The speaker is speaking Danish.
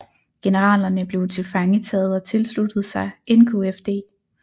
Generalerne blev tilfangetaget og tilsluttede sig NKFD